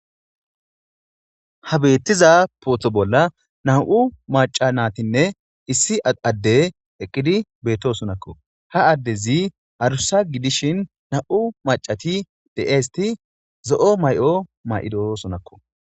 Ha beettiza pootho bolla nam7u maca natinne issi adde eqqidi beetto sonakko ha addezi harusa gidishin nam7u macati de7eesti zo7o may7o may7ido sonakko